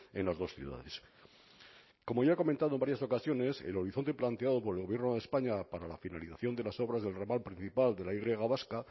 en las dos ciudades como ya he comentado en varias ocasiones el horizonte planteado por el gobierno de españa para la finalización de las obras del ramal principal de la y vasca